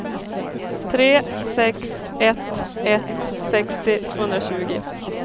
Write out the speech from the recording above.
tre sex ett ett sextio tvåhundratjugo